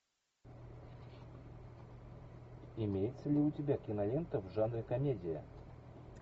имеется ли у тебя кинолента в жанре комедия